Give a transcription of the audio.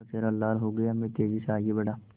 उनका चेहरा लाल हो गया मैं तेज़ी से आगे बढ़ा